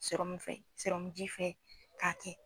ji fɛ k'a kɛ